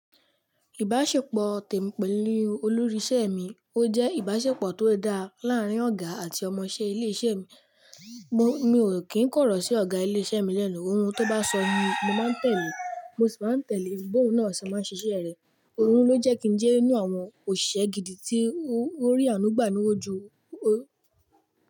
Ìbáṣepọ̀ tèmi pèlu olórí isẹ mi ó jẹ́ ìbáṣepọ̀ tó dá láàrin ọ̀gá àti ọmọṣẹ ilé isẹ mi. Mo, mi ò kí ń kọ̀rọ̀ sí ọ̀gá ilé isẹ́ mi lẹ́nu, ohun tó bá sọ ni mo máa ń tẹ̀lé, mo sì máa ń tẹ̀lé bi ohun na se máa ń ṣiṣẹ́ rẹ̀. Òun ló jẹ́ kí n jẹ́ nínú àwọn òṣìṣẹ́ gidi tí ó rí àánú gbà ní wájú, ó.